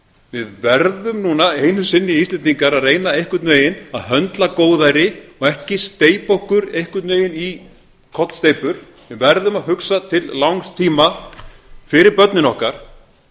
við verðum núna einu sinni íslendingar að reyna einhvern veginn að höndla góðæri og ekki steypa okkur einhvern veginn í kollsteypur við verðum að hugsa til langs tíma fyrir börnin okkar